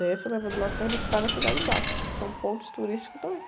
Desce o elevador Lacerda e sai na Cidade Baixa, que são pontos turísticos também.